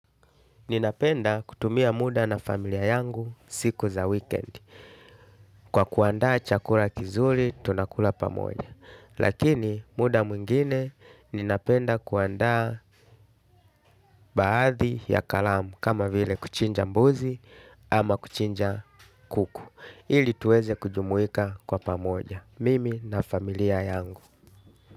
Ninapenda kutumia muda na familia yangu siku za wikendi kwa kuandaa chakula kizuri tunakula pamoja. Lakini muda mwingine ninapenda kuandaa baadhi ya kalamu kama vile kuchinja mbuzi ama kuchinja kuku. Ili tuweze kujumuika kwa pamoja. Mimi na familia yangu.